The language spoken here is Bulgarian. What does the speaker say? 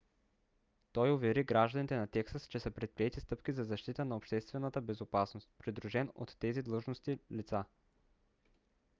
той увери гражданите на тексас че са предприети стъпки за защита на обществената безопасност придружен от тези длъжностни лица